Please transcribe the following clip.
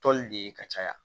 Tɔli de ye ka caya